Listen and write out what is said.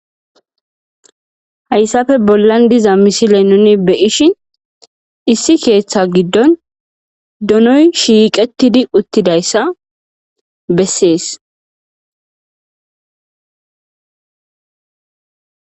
Hayssafe bollan diza misile nuni beyishin issi keeththa giddon donoy shiiqettidi uttidayssa bessees.